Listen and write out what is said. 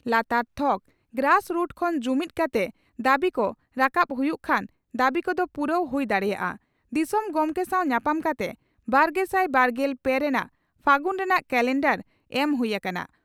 ᱞᱟᱛᱟᱨ ᱛᱷᱚᱠ (grass root) ᱠᱷᱚᱱ ᱡᱩᱢᱤᱫᱽ ᱠᱟᱛᱮ ᱫᱟᱹᱵᱤ ᱠᱚ ᱨᱟᱠᱟᱵ ᱦᱩᱭᱩᱜ ᱠᱷᱟᱱ ᱫᱟᱹᱵᱤ ᱠᱚᱫᱚ ᱯᱩᱨᱟᱹᱣ ᱦᱩᱭ ᱫᱟᱲᱮᱭᱟᱜᱼᱟ ᱾" ᱫᱤᱥᱚᱢ ᱜᱚᱢᱠᱮ ᱥᱟᱣ ᱧᱟᱯᱟᱢ ᱠᱟᱛᱮ 'ᱵᱟᱨᱜᱮᱥᱟᱭ ᱵᱟᱨᱜᱮᱞ ᱯᱮ ᱨᱮᱱᱟᱜ ᱯᱷᱟᱹᱜᱩᱱ ᱨᱮᱱᱟᱜ ᱠᱟᱞᱮᱱᱰᱟᱨ' ᱮᱢ ᱦᱩᱭ ᱟᱠᱟᱱᱟ ᱾